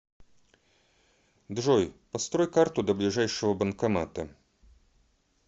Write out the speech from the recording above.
джой построй карту до ближайшего банкомата